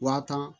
Wa tan